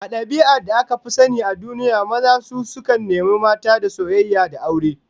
A dabi'ar da aka fi sani a duniya, maza su sukan nemi mata da soyayya da aure